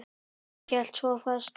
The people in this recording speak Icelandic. Hann hélt svo fast.